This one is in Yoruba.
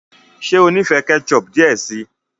ṣe o n'ifẹ sí ketchup diẹ sí.